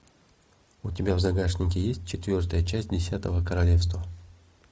у тебя в загашнике есть четвертая часть десятого королевства